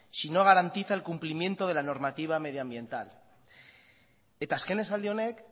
si no garantiza el cumplimiento de la normativa medioambiental eta azken esaldi honek